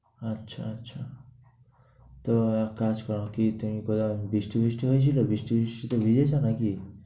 আচ্ছা, আচ্ছা। তো এক কাজ করো, কি বৃষ্টি বৃষ্টি হয়েছিলো, বৃষ্টি বৃষ্টিতে ভিজেছো, নাকি?